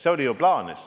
See oli ju plaanis.